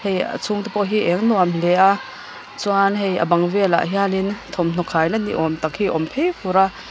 hei a chhungte pawh hi eng nuam hle a chuan hei a bang lehah hianin thawmhnaw khaina ni awm tak hi awm teh fur a.